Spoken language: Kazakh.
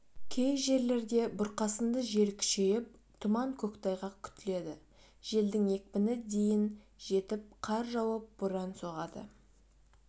кей жерлерде бұрқасынды жел күшейіп тұман көктайғақ күтіледі желдің екпіні дейін жетіп қар жауып боран соғады